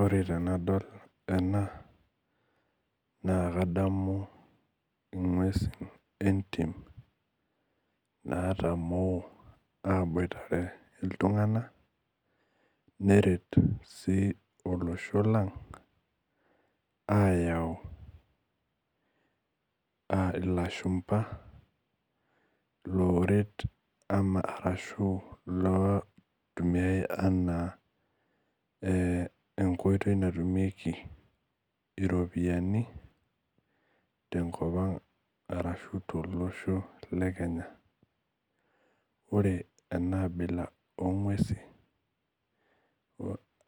Ore tenadol ena na kadamu ngwesu entim latamo aboitare ltunganak neret olosho lang ayau lashumba loret arashubloitumiai ana enkoitoi natumiekibiropiyanu tenkop anga ashu tolosho lekenya ore enaabila ongwesi